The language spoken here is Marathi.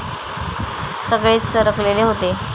सगळेच चरकलेले होते.